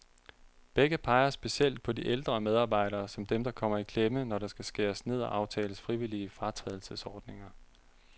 Begge peger specielt på de ældre medarbejdere, som dem, der kommer i klemme, når der skal skæres ned og aftales frivillige fratrædelsesordninger.